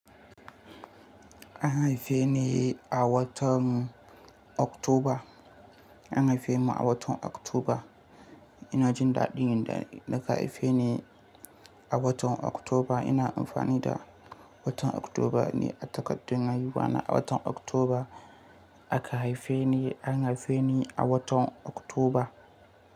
An haife ni a watan Oktoba. An haife mu a watan Oktoba. Ina jin daɗin da aka haife ni a watan Oktoba. Ina amfani da watan Oktoba ne a takardun haihuwa na. A watan Oktoba aka haife ni. An haife ni a watan Oktoba.